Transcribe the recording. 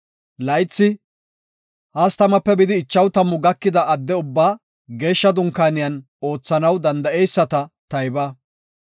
Laythi 30-50 gakida adde ubbaa Geeshsha Dunkaaniyan oothanaw danda7eyisata tayba.